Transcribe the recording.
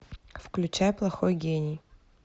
включай плохой гений